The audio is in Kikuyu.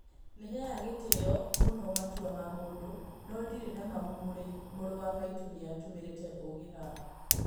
"Nĩheaga gĩtĩo mũno matua ma mũndũ no ndirĩ nama mũru wa maitũ nĩatũmĩrĩte ũũgĩ haha.